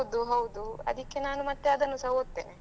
ಹೌದು ಹೌದು ಅದಿಕ್ಕೆ ನಾನು ಮತ್ತೆ ಹಾಗೆ ಅದನ್ನು ಸಹ ಒದ್ತೆನೆ.